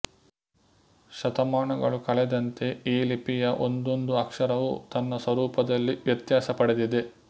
ಶತಮಾನಗಳು ಕಳೆದಂತೆ ಈ ಲಿಪಿಯ ಒಂದೊಂದು ಅಕ್ಷರವೂ ತನ್ನ ಸ್ವರೂಪದಲ್ಲಿ ವ್ಯತ್ಯಾಸ ಪಡೆದಿದೆ